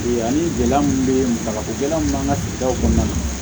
Ani gɛlɛya mun be yen dagakolon b'an ka sigidaw kɔnɔna na